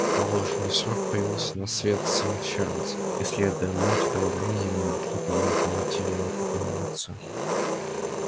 в положенный срок появился на свет сын чарлза и следуя моде того времени его нарекли по имени командира его покойного отца